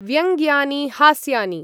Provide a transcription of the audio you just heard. व्यङ्ग्यानि हास्यानि।